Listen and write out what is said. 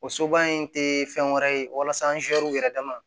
O soba in te fɛn wɛrɛ ye walasa yɛrɛ dama